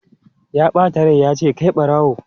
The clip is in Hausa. Ya bata rai ya ce 'kai barawo!'